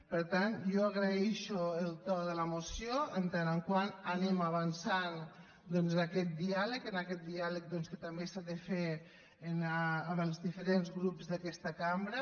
per tant jo agraeixo el to de la moció en tant que anem avançant en aquest diàleg que també s’ha de fer amb els diferents grups d’aquesta cambra